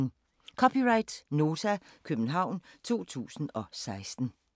(c) Nota, København 2016